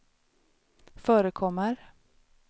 förekommer